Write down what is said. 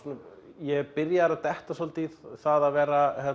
ég er byrjaður að detta svolítið það að vera